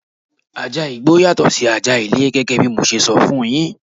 Ajá igbó yàtọ̀ sí ajá ilé gẹ́gẹ́ bí mo ṣe sọ fún yín.